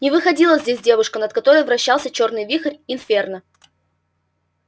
не выходила здесь девушка над которой вращался чёрный вихрь инферно